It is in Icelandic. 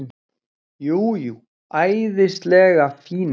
Jú, jú, æðislega fínu.